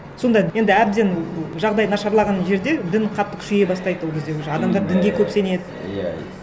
сонда енді әбден жағдай нашарлаған жерде дін қатты күшейе бастайды ол кезде уже адамдар дінге көп сенеді